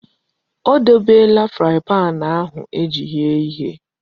O debela paanụ ahụ eji eghe ihe.